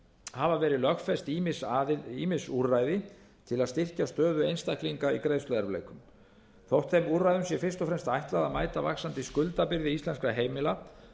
hafa verið lögfest ýmis úrræði til að styrkja stöðu einstaklinga í greiðsluerfiðleikum þótt þeim úrræðum sé fyrst og fremst ætlað að mæta vaxandi skuldabyrði íslenskra heimila